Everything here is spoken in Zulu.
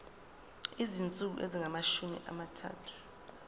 izinsuku ezingamashumi amathathu